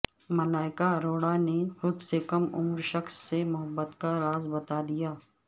ملائیکا اروڑا نے خود سے کم عمر شخص سے محبت کا راز بتادیا